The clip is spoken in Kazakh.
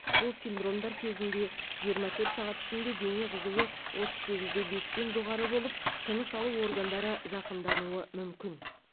бұл синдромдар кезінде жиырма төрт сағат ішінде дене қызуы отыз сегіз де бестен жоғары болып тыныс алу органдары зақымдануы мүмкін